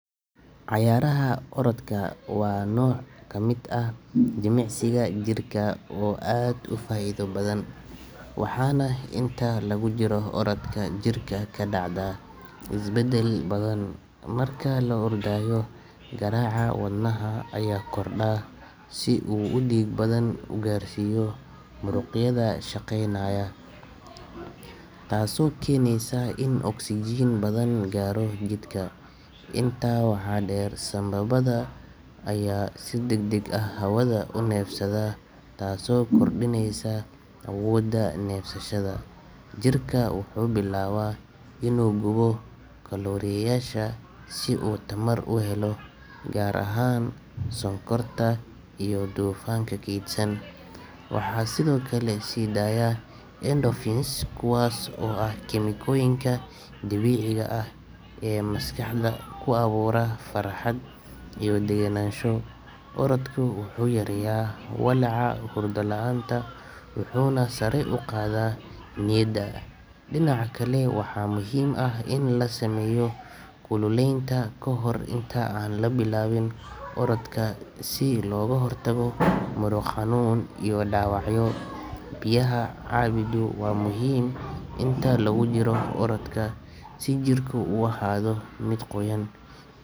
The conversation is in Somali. Ciyaaraha orodka waa nooc ka mid ah jimicsiga jirka oo aad u faa’iido badan, waxaana inta lagu jiro orodka jirka ka dhacda isbeddel badan. Marka la ordayo, garaaca wadnaha ayaa kordha si uu dhiig badan u gaarsiiyo muruqyada shaqeynaya, taasoo keeneysa in oksijiin badan gaaro jidhka. Intaa waxaa dheer, sambabbada ayaa si degdeg ah hawada u neefsada, taasoo kordhineysa awoodda neefsashada. Jirka wuxuu bilaabaa inuu gubo kalooriyeyaasha si uu tamar u helo, gaar ahaan sonkorta iyo dufanka kaydsan. Waxaa sidoo kale sii daaya endorphins, kuwaas oo ah kiimikooyinka dabiiciga ah ee maskaxda ku abuura farxad iyo degenaansho. Orodka wuxuu yareeyaa walaaca, hurdo la’aanta, wuxuuna sare u qaadaa niyadda. Dhinaca kale, waxaa muhiim ah in la sameeyo kululaynta kahor inta aan la bilaabin orodka si looga hortago muruq xanuun iyo dhaawacyo. Biyaha cabiddu waa muhiim inta lagu jiro orodka si jirku u ahaado mid qoyan.